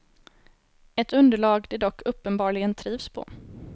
Ett underlag de dock uppenbarligen trivs på.